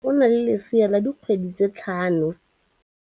Moagisane wa rona o na le lesea la dikgwedi tse tlhano.